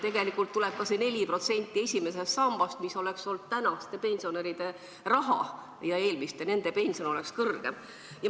Tegelikult tuleb ka see 4% esimesest sambast, mis oleks olnud praeguste pensionäride raha ja nende pension oleks kõrgem.